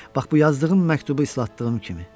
Bax bu yazdığım məktubu ıslatdığım kimi.